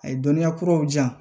A ye dɔnniya kuraw di yan